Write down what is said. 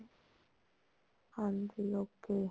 ਹਾਂਜੀ okay